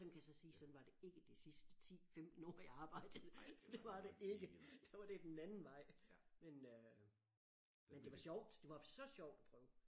Sådan kan jeg så sige sådan var det ikke det sidste 10 15 år jeg arbejdede det var det ikke da var det den anden vej men øh men det var sjovt det var så sjovt at prøve